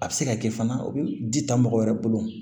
A bɛ se ka kɛ fana u bɛ di ta mɔgɔ wɛrɛ bolo